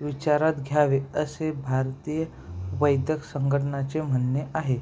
विचारात घ्यावे असे भारतीय वैद्यक संघटनेचे म्हणणे आहे